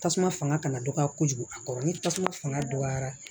Tasuma fanga kana dɔgɔya kojugu a kɔrɔ ni tasuma fanga dɔgɔyara